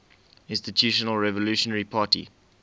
institutional revolutionary party